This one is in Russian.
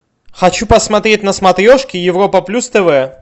хочу посмотреть на смотрешке европа плюс тв